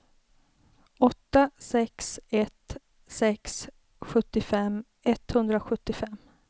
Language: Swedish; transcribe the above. åtta sex ett sex sjuttiofem etthundrasjuttiofem